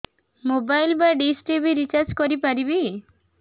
mobile ବା dish TV recharge କରି ପାରିବି